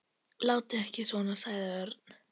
Látið ekki svona sagði Örn.